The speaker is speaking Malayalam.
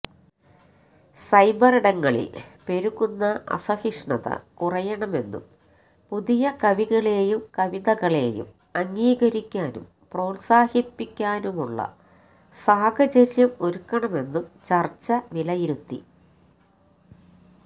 സൈബറിടങ്ങളില് പെരുകുന്ന അസഹിഷ്ണുത കുറയണമെന്നും പുതിയ കവികളെയും കവിതകളെയും അംഗീകരിക്കാനും പ്രോത്സാഹിപ്പിക്കാനുമുള്ള സാഹചര്യം ഒരുക്കണമെന്നും ചര്ച്ച വിലയിരുത്തി